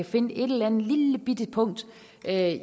simpelt hen at